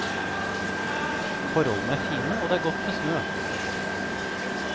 Forholdene er fine og det er godt med snø.